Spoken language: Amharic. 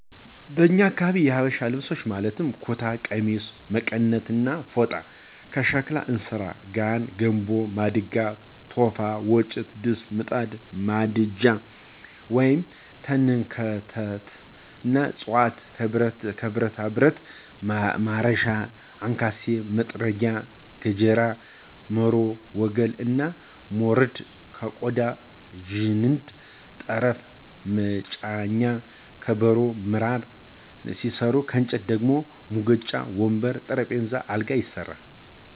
በኛ አካባቢ የሀበሻ ልብሶች ማለትም ኩታ፣ ቀሚስ፣ መቀነት እና ፎጣ፤ ከሸክላ እንስራ፣ ጋን፣ ገንቦ፣ ማድጋ፣ ቶፋ፣ ወጭት፣ ድስት፣ ምጣድ፣ ማንደጃ(ተንከርተት)እና ጽዋ፤ ከብረታብረት ማረሻ፣ አንካሴ፣ መጥረቢያ፣ ገጀራ፣ መሮ፣ ወገል እና ሞረድ፤ ከቆዳ ዠንዲ፣ ጠፍር(መጫኛ)፣ከበሮ፣ ምራን ሲሰሩ ከእንጨት ደግሞ ሙቀጫ፣ ወንበር፣ ጠረንጴዛ፣ አልጋ ይሰራሉ።